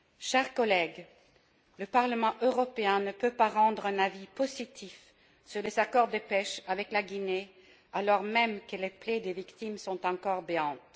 Chers collègues, le Parlement européen ne peut pas rendre un avis positif sur les accords de pêche avec la Guinée, alors même que les plaies des victimes sont encore béantes.